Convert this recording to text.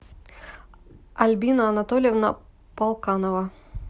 альбина анатольевна полканова